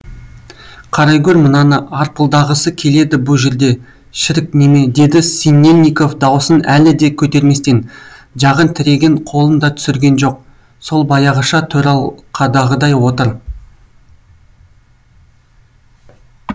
қарайгөр мынаны арпылдағысы келеді бұ жерде шірік неме деді синельников дауысын әлі де көтерместен жағын тіреген қолын да түсірген жоқ сол баяғыша төралқадағыдай отыр